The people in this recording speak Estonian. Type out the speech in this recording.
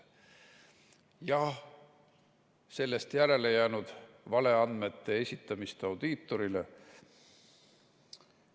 Jah, sellest järele jäänud valeandmete esitamist audiitorile.